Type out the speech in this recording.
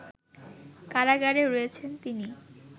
কারাগারে রয়েছেন তিনি